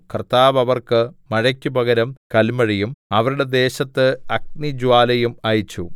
കർത്താവ് അവർക്ക് മഴയ്ക്കു പകരം കൽമഴയും അവരുടെ ദേശത്ത് അഗ്നിജ്വാലയും അയച്ചു